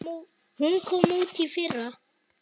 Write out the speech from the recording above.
Hún kom út í fyrra.